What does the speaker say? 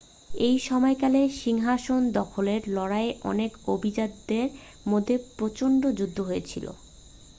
এই সময়কালে সিংহাসন দখলের লড়াইয়ে অনেক অভিজাতদের মধ্যে প্রচণ্ড যুদ্ধ হয়েছিল